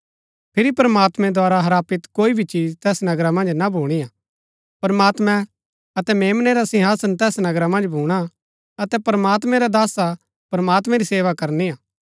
फिरी प्रमात्मैं द्धारा हरापित कोई भी चिज तैस नगरा मन्ज ना भूणी हा प्रमात्मैं अतै मेम्नै रा सिंहासन तैस नगरा मन्ज भूणा अतै प्रमात्मैं रै दासा प्रमात्मैं री सेवा करनी हा